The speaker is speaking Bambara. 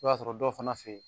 I b'a sɔrɔ dɔw fana fe yen